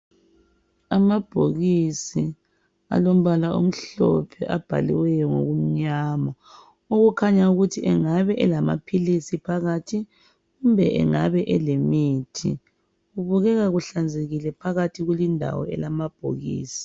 Amabhokisi alombala omhlophe abhaliweyo ngokunyama okukhanya ukuthi engabe elamaphilisi phakathi kumbe engabe elemithi kubukeka kuhlanzekile phakathi kulindawo elamabhokisi